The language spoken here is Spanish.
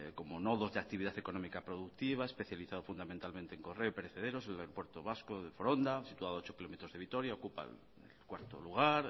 como nodos de actividad económica productiva especializado fundamentalmente en correo pereceros el aeropuerto vasco de foronda situado a ocho kilómetros de vitoria ocupa el cuarto lugar